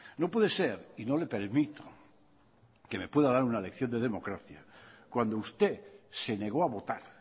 no puede ser y no le permito que me pueda dar una lección de democracia cuando usted se negó a votar